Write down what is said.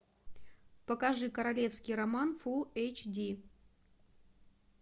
покажи королевский роман фул эйч ди